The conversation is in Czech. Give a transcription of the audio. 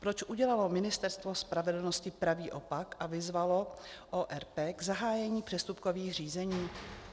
Proč udělalo Ministerstvo spravedlnosti pravý opak a vyzvalo ORP k zahájení přestupkových řízení?